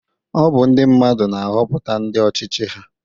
Ọ bu ndi mmadụ na-Hoputa ndi ọchichị ha